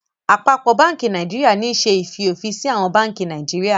Àpapọ bánkì Nàìjíríà ní ṣe í fiofinsi àwọn bánkì Naijiria